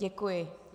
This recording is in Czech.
Děkuji.